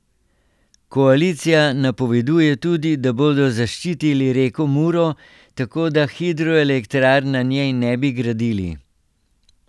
Koalicija napoveduje tudi, da bodo zaščitili reko Muro, tako da hidroelektrarn na njej ne bi gradili.